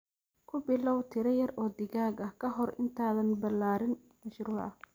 Ku bilow tiro yar oo digaag ah ka hor intaadan ballaarin mashruuca.